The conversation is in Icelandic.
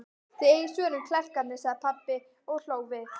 Þið eigið svörin, klerkarnir, sagði pabbi og hló við.